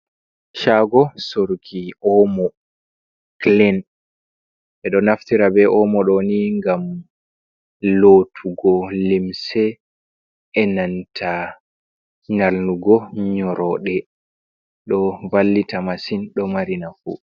Chago soroki omo kilin ɓeɗo naftira be omo ɗoni gam lotugo limse, e nanta nyalnugo nyoroɗe, ɗo vallita masin, ɗo mari nafu.